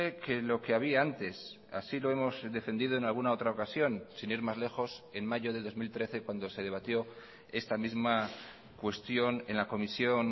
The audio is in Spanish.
que lo que había antes así lo hemos defendido en alguna otra ocasión sin ir más lejos en mayo de dos mil trece cuando se debatió esta misma cuestión en la comisión